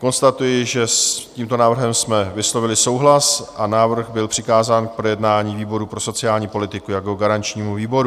Konstatuji, že s tímto návrhem jsme vyslovili souhlas a návrh byl přikázán k projednání výboru pro sociální politiku jako garančnímu výboru.